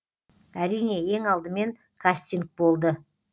әрине ең алдымен кастинг болды